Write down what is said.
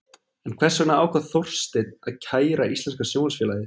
En hvers vegna ákvað Þorsteinn að kæra Íslenska Sjónvarpsfélagið?